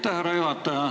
Aitäh, härra juhataja!